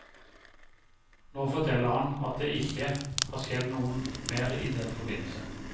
Nå forteller han at det ikke har skjedd noe mer i den forbindelse.